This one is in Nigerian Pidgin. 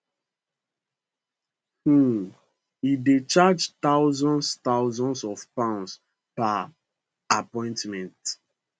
um e dey charge thousands thousands of pounds per appointment